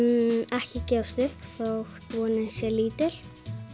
ekki gefast upp þótt vonin sé lítil